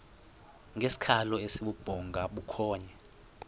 ngesikhalo esibubhonga bukhonya